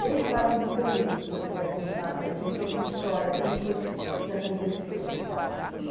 Desde ali do começo, se o senhor puder contar para gente essa história, como foi que aconteceu?